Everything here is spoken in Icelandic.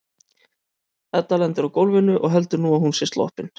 Edda lendir á gólfinu og heldur að nú sé hún sloppin.